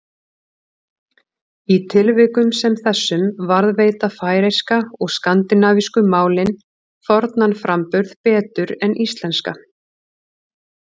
Í tilvikum sem þessum varðveita færeyska og skandinavísku málin fornan framburð betur en íslenska.